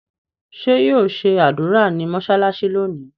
ṣe yíò ṣe ádùrá ní mọsalasi lónì?